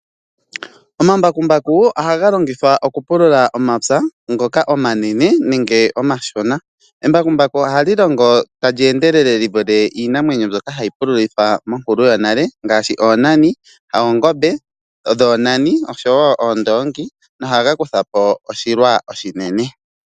Omambakumbaku ohaga longithwa okupulula omapya ngoka omanene nenge omashona. Embakumbaku ohali longo tali endelele li vule iinamwenyo mbyoka hayi pululithwa monkulu yonale ngaashi oongombe dhoonani oshowo oondoongi, nohaga kutha po oshilwa oshinene.